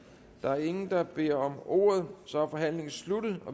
der er ingen der beder om ordet så er forhandlingen sluttet